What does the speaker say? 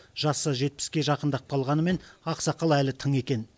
жасы жетпіске жақындап қалғанымен ақсақал әлі тың екен